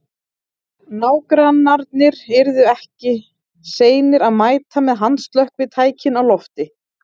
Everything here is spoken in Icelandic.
Nágrannarnir yrðu ekki seinir að mæta með handslökkvitækin á lofti.